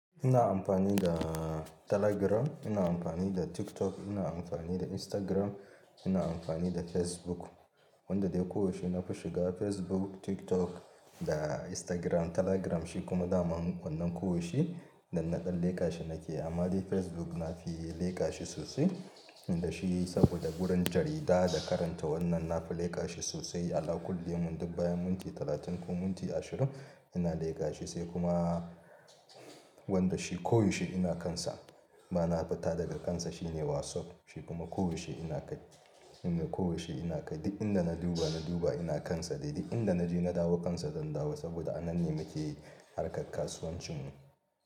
Ina amfani da Telegram, ina amfani da TikTok, ina amfani da Instagram, ina amfani da Facebook. Wanda dai ko yaushe nafi shiga Facebook, TikTok da Instagram, Telegram shi kuma daman wannan koyaushe dannaɗan leƙa shi nake. Amma dai Facebook nafi leƙa shi sosai, inda shi saboda gurin jarida da karanta wannan nafi leƙa shi sosai. Ala kulli yaumin dik bayan minti talatin ko minti ashirin ina leƙa shi sai kuma wanda shi ko yaushe ina kansa, ba na fita daga kansa shine WhatsApp. Shi kuma ko yaushe ina kai, ina ko yaushe ina kai. Duk inda na duba, na duba ina kansa dai duk inda na je na dawo kansa zan dawo saboda a nan ne nake harkar kasuwancin mu.